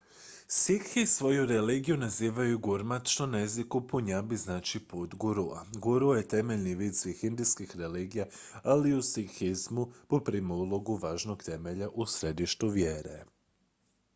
"sikhi svoju religiju nazivaju gurmat što na jeziku punjabi znači "put gurua"". guru je temeljni vid svih indijskih religija ali u sikhizmu poprima ulogu važnog temelja u središtu vjere.